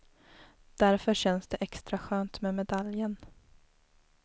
Därför känns det extra skönt med medaljen.